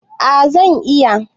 A zan iya